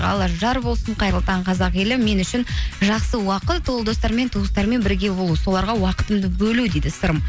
алла жар болсын қайырлы таң қазақ елі мен үшін жақсы уақыт ол достармен туыстармен бірге болу соларға уақытымды бөлу дейді сырым